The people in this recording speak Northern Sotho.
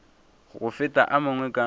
go feta a mangwe ka